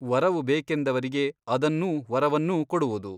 ವರವು ಬೇಕೆಂದವರಿಗೆ ಅದನ್ನೂ ವರವನ್ನೂ ಕೊಡುವುದು.